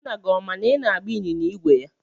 Nna gị ọ ma na ị na-agba ịnyịnya ígwè ya?